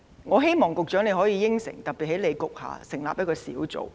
我希望局長可以承諾，在你局下特別成立一個小組。